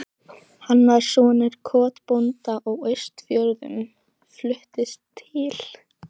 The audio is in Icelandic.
Hann var sonur kotbónda á Austfjörðum, fluttist til